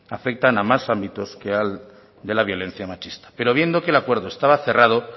afectan a más ámbitos que al de la violencia machista pero viendo que el acuerdo estaba cerrado